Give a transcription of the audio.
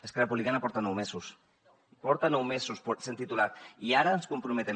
esquerra republicana porta nou mesos porta nou mesos sent ne titular i ara ens comprometem